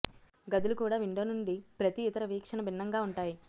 గదులు కూడా విండో నుండి ప్రతి ఇతర వీక్షణ భిన్నంగా ఉంటాయి